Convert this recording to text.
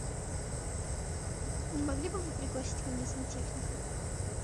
не могли бы вы пригласить ко мне сантехника